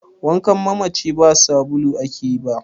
wankan mamaci ba da sbulu ake ba